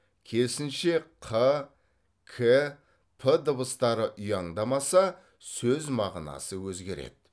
керісінше қ к п дыбыстары ұяңдамаса сөз мағынасы өзгереді